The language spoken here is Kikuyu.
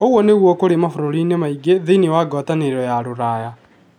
Ũguo nĩguo kũrĩ mabũrũri-inĩ maingĩ thĩinĩ wa Ngwatanĩro ya Rũraya.